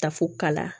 Ta fo kala